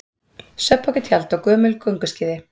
Svefnpoki, tjald og gömul gönguskíði.